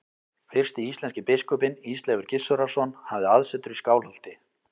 Fyrsti íslenski biskupinn, Ísleifur Gissurarson, hafði aðsetur í Skálholti.